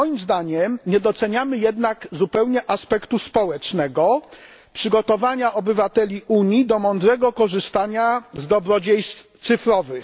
Moim zdaniem nie doceniamy jednak zupełnie aspektu społecznego, czyli przygotowania obywateli Unii do mądrego korzystania z dobrodziejstw cyfrowych.